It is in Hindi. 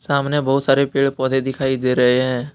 सामने बहुत सारे पेड़ पौधे दिखाई दे रहे हैं।